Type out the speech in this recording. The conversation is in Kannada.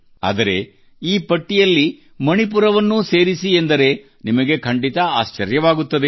ಆದರೆ ಈ ಪಟ್ಟಿಯಲ್ಲಿ ಮಣಿಪುರವನ್ನೂ ಸೇರಿಸಿ ಎಂದರೆ ನಿಮಗೆ ಖಂಡಿತ ಆಶ್ಚರ್ಯವಾಗುತ್ತದೆ